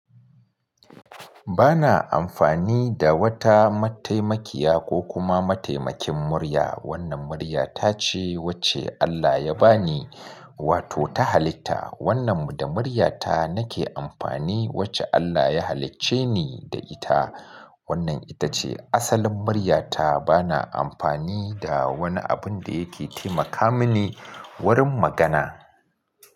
Bana amfani da wata mataimakiya ko kuma mataimakin murya. Wannan murya ta ce wacce Allah ya ba ni, wato ta halitta. Wannan da muryata nake amfani wacce Allah ya halicce ni da ita. Wannan ita ce asalin muryata. Bana amfani da wani abun da yake taimaka mini wurin magana.